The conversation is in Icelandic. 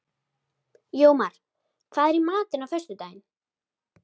Jómar, hvað er í matinn á föstudaginn?